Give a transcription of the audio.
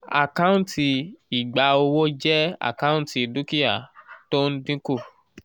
àkántì ìgba owó jẹ́ àkántì dúkìá tó ń dínkù